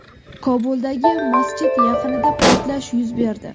Kobuldagi masjid yaqinida portlash yuz berdi.